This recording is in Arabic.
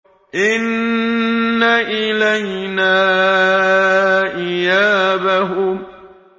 إِنَّ إِلَيْنَا إِيَابَهُمْ